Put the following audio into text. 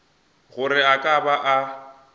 gore a ka ba a